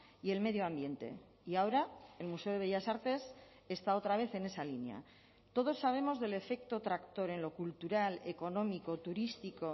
y el medio ambiente y ahora el museo de bellas artes está otra vez en esa línea todos sabemos del efecto tractor en lo cultural económico turístico